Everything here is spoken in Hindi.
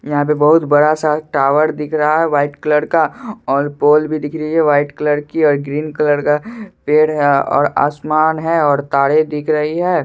यहाँ बहुत बड़ा सा टावर दिख रहा है वाईट कलर का और पोल भी दिख रही है वाईट कलर की और ग्रीन कलर का पेड़ है और आसमान है और तारे दिख रही हैं।